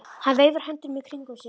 Hann veifar höndunum í kringum sig.